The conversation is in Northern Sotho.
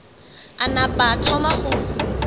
a napa a thoma go